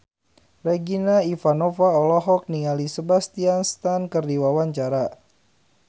Regina Ivanova olohok ningali Sebastian Stan keur diwawancara